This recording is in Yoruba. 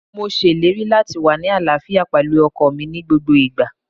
Mo ṣèlérí láti wá ní àlàáfíà pẹ̀lú ọkọọ̀ mi ní gbogbo ìgbà.